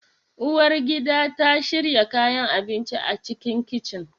Uwar gida ta shiyar kayan abinci a cikin kicin